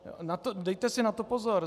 Dejte si na to pozor.